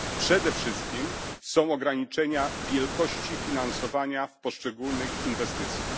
Przede wszystkim są to ograniczenia wielkości finansowania w poszczególnych inwestycjach.